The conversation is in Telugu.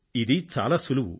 ఇది చాలా సులువు